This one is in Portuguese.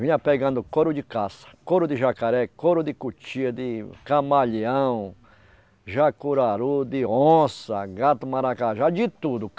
Vinha pegando couro de caça, couro de jacaré, couro de cutia, de camaleão, jacuraru, de onça, gato-maracajá, de tudo.